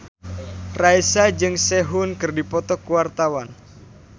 Raisa jeung Sehun keur dipoto ku wartawan